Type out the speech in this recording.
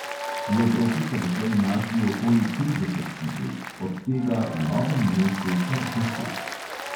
V evropi so doslej našli okoli trideset situl, od tega v novem mestu kar deset.